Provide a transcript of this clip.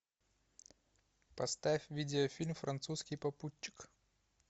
поставь видеофильм французский попутчик